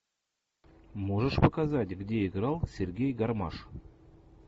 можешь показать где играл сергей гармаш